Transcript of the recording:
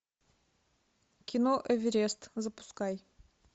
кино эверест запускай